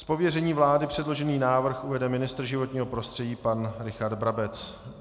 Z pověření vlády předložený návrh uvede ministr životního prostředí pan Richard Brabec.